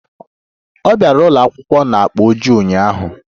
Ọ bịara ụlọ akwụkwọ na akpa ojii ụnyaahụ